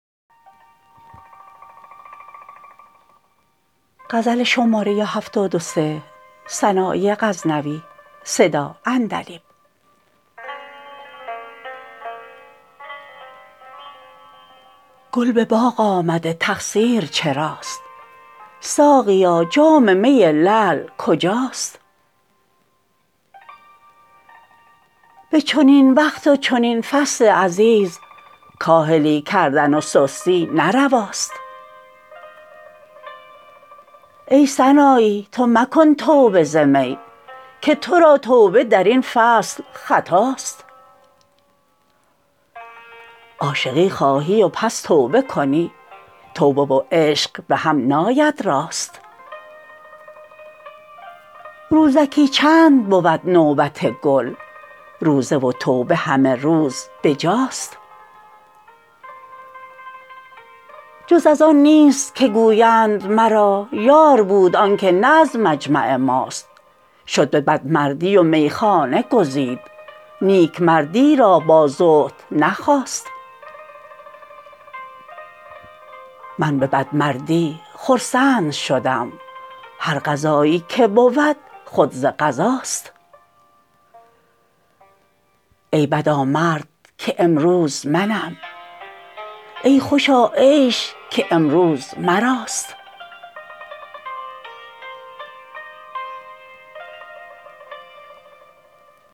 گل به باغ آمده تقصیر چراست ساقیا جام می لعل کجاست به چنین وقت و چنین فصل عزیز کاهلی کردن و سستی نه رواست ای سنایی تو مکن توبه ز می که ترا توبه درین فصل خطاست عاشقی خواهی و پس توبه کنی توبه و عشق بهم ناید راست روزکی چند بود نوبت گل روزه و توبه همه روز بجاست جز از آن نیست که گویند مرا یار بود آنکه نه از مجمع ماست شد به بد مردی و میخانه گزید نیک مردی را با زهد نخواست من به بد مردی خرسند شدم هر قضایی که بود خود ز قضاست ای بدا مرد که امروز منم ای خوشا عیش که امروز مراست